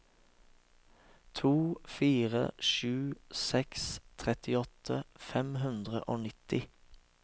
to fire sju seks trettiåtte fem hundre og nitti